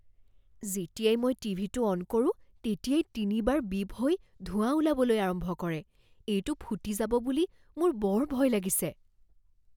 যেতিয়াই মই টিভিটো অন কৰো তেতিয়াই তিনিবাৰ বিপ হৈ ধোঁৱা ওলাবলৈ আৰম্ভ কৰে। এইটো ফুটি যাব বুলি মোৰ বৰ ভয় লাগিছে।